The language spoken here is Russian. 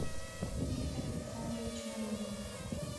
виктор александрович маринин